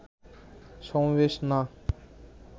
সমাবেশ না